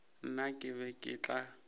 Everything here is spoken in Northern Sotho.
nna ke be ke tla